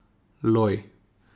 Loj!